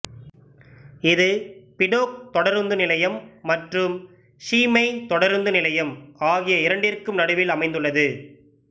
இது பிடோக் தொடருந்து நிலையம் மற்றும் ஸீமெய் தொடருந்து நிலையம் ஆகிய இரண்டிற்கும் நடுவில் அமைந்துள்ளது